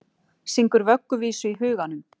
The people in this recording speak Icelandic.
Syngur vögguvísu í huganum.